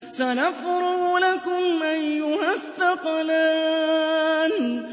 سَنَفْرُغُ لَكُمْ أَيُّهَ الثَّقَلَانِ